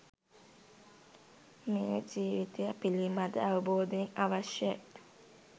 මේ ජීවිතය පිළිබඳ අවබෝධය අවශ්‍යයි.